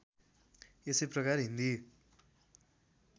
यसै प्रकार हिन्दी